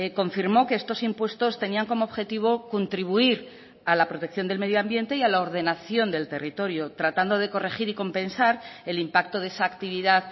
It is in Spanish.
confirmó que estos impuestos tenían como objetivo contribuir a la protección del medio ambiente y a la ordenación del territorio tratando de corregir y compensar el impacto de esa actividad